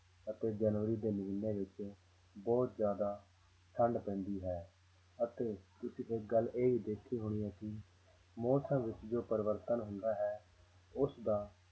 ਅਤੇ ਜਨਵਰੀ ਦੇ ਮਹੀਨੇ ਵਿੱਚ ਬਹੁਤ ਜ਼ਿਆਦਾ ਠੰਢ ਪੈਂਦੀ ਹੈ ਅਤੇ ਤੁਸੀਂ ਇੱਕ ਗੱਲ ਇਹ ਵੀ ਦੇਖੀ ਹੋਣੀ ਹੈ ਕਿ ਮੌਸਮਾਂ ਵਿੱਚ ਜੋ ਪਰਿਵਰਤਨ ਹੁੰਦਾ ਹੈ ਉਸਦਾ